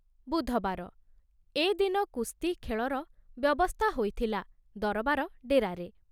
ବୁଧବାର, ଏ ଦିନ କୁସ୍ତି, ଖେଳର ବ୍ୟବସ୍ଥା ହୋଇଥିଲା ଦରବାର ଡେରାରେ